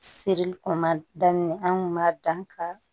Serili kɔnɔ ma daminɛ an kun b'a dan ka